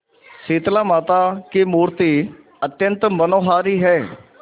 शीतलामाता की मूर्ति अत्यंत मनोहारी है